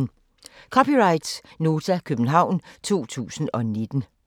(c) Nota, København 2019